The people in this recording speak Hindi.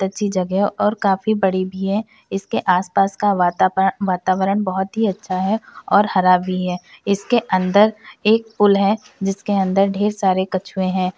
जगह है और काफी बड़ी भी है। इसके आस-पास का वातापरण वातावरण बहुत ही अच्छा है और हरा भी है। इसके अंदर एक पूल है जिसके अंदर ढेर सारे कछुए हैं।